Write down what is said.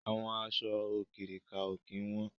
Àwọn aṣọ òkirìkà ó kín wọn